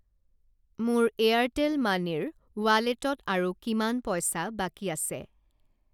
মোৰ Airtel money ৰ ৱালেটত আৰু কিমান পইচা বাকী আছে?